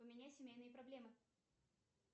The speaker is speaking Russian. у меня семейные проблемы